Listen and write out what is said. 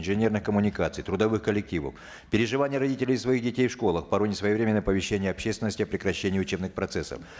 инженерных крммуникаций трудовых коллективов переживания родителей из за своих детей в школах порой несвоевременное оповещение общественности о прекращении учебных процессов